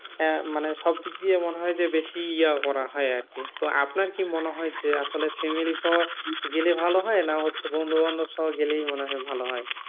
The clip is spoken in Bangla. আহ মানে সব দিক দিয়ে মনে হয় যে বেশি ইয়া করা হয় আরকি তো আপনার কি মনে হয় যে আসলে family সহ গেলে ভালো হয় না হচ্ছে বন্ধুবান্ধব সহ গেলেই মনে হয় ভালো হয়?